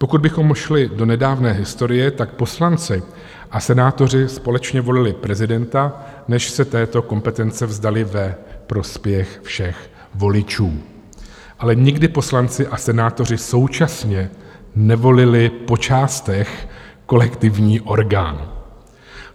Pokud bychom šli do nedávné historie, tak poslanci a senátoři společně volili prezidenta, než se této kompetence vzdali ve prospěch všech voličů, ale nikdy poslanci a senátoři současně nevolili po částech kolektivní orgán.